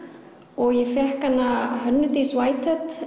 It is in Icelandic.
og ég fékk hana Hönnu Dís